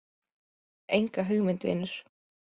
Enga hugmynd vinur.